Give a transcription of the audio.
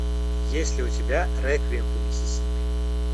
есть ли у тебя реквием по миссисипи